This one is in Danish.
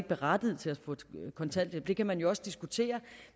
berettiget til at få kontanthjælp det kan man jo også diskutere